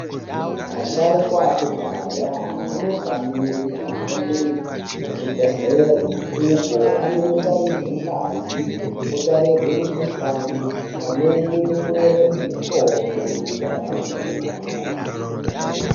Asharukwa ekudhaya anofanirwe kuhambe kuzvibhedhlera uko anonotarirwe ngazi, anonotarirwe mukuhlani pamwe nekunyorerwe mitombo inoenderana nemukuhlani yayo.